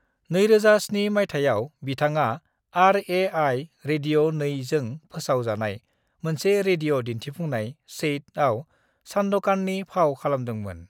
2007 मायथायाव बिथाङा RAI. Radio 2 जों फोसाव जानाय मोनसे रेडिय दिन्थिफुंनाय 'चैट' आव सान्दकाननि फाव खालामदोंमोन।